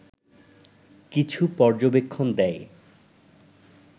কিছু পর্যবেক্ষণ দেয়